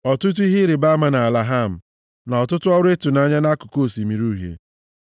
ọtụtụ ihe ịrịbama nʼala Ham, na ọtụtụ ọrụ ịtụnanya nʼakụkụ Osimiri Uhie.